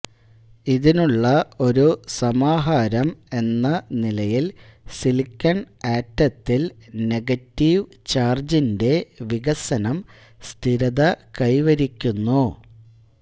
ഇതിനുള്ള ഒരു സമാഹാരം എന്ന നിലയിൽ സിലിക്കൺ ആറ്റത്തിൽ നെഗറ്റീവ് ചാർജിന്റെ വികസനം സ്ഥിരത കൈവരിക്കുന്നു